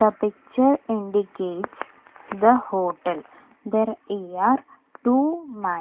the picture indicates the hotel there here two man.